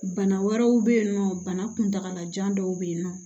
Bana wɛrɛw bɛ yen nɔ bana kuntalajan dɔw bɛ yen nɔ